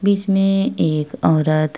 बीच में एक औरत --